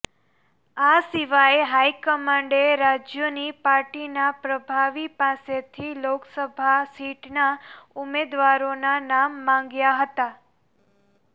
આ સિવાય હાઈકમાન્ડે રાજ્યોની પાર્ટીના પ્રભારી પાસેથી લોકસભા સીટના ઉમેદવારોના નામ માગ્યા હતા